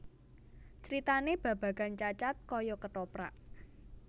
Critanè babagan Cacad kaya kethoprak